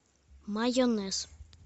майонез